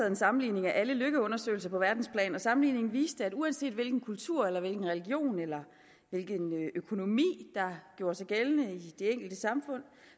en sammenligning af alle lykkeundersøgelser på verdensplan og sammenligningen viste at uanset hvilken kultur eller hvilken religion eller hvilken økonomi der gjorde sig gældende i de enkelte samfund